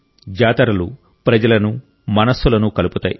జాతరలు ప్రజలను మనస్సులను కలుపుతాయి